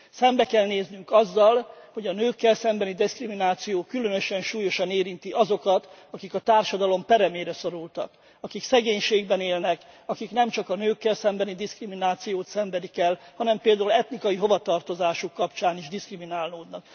Szembe kell néznünk azzal, hogy a nőkkel szembeni diszkrimináció különösen súlyosan érinti azokat, akik a társadalom peremére szorultak, akik szegénységben élnek, akik nem csak a nőkkel szembeni diszkriminációt szenvedik el, hanem például etnikai hovatartozásuk kapcsán is diszkriminálódnak.